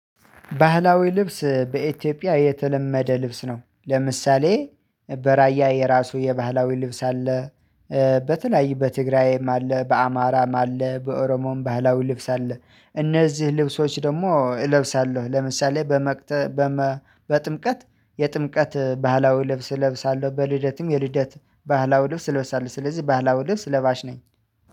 ባህላዊ ልብስ በኢትዮጵያ የተለመደ ልብስ ነው፣ ለምሳሌ በራያ የራሱ የባህላዊ ልብስ አለ በተለያዩ በትግራይም አለ፣ በአማራም፣ አለ በኦሮሞም ባህላዊ ልብስ አለ፣ እነዚህ ልብሶች ደግሞ እለብሳለሁ፣ ለምሳሌ በመቅጥ በመ በጥምቀት የጥምቀት ባህላዊ ልብስ እለብሳለሁ፣ በልደትም የልደት ባህላዊ ልብስ እለብሳለሁ ስለዚህ ባህላዊ ልብስ ለባሽ ነኝ።